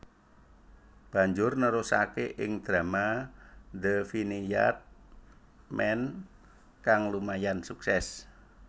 Banjur nerusake ing drama The Vineyard Man kang lumayan sukses